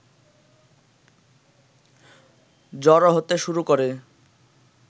জড়ো হতে শুরু করে